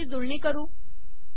आता याची जुळणी करू